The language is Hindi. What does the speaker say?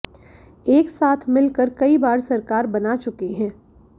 एक साथ मिल कर कई बार सरकार बना चुके हैं